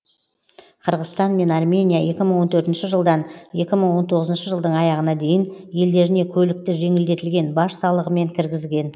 қырғызстан мен армения екі мың он төртінші жылдан екі мың он тоғызыншы жылдың аяғына дейін елдеріне көлікті жеңілдетілген баж салығымен кіргізген